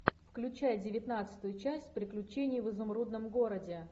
включай девятнадцатую часть приключения в изумрудном городе